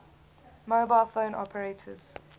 mobile phone operators